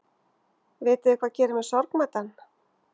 Vitiði hvað gerir mig sorgmæddan?